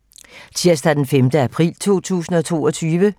Tirsdag d. 5. april 2022